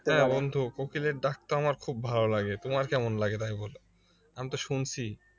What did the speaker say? হ্যাঁ বন্ধু কোকিলের ডাকটা আমার খুব ভালো লাগে তোমার কেমন লাগে তাই বলো আমি তো শুনছি